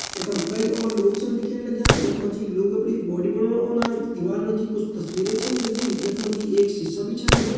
यखम कई और लोग छन दिखेण लग्यां यख मा जी लोग अपणी बॉडी बनौण औंदन। दीवाल पे उच्च तस्वीर छा लगीं यख मा जी सिसा भी छ लग्युं।